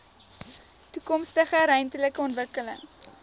toekomstige ruimtelike ontwikkeling